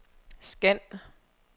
scan